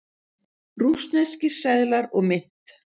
Rússneskir seðlar og mynt.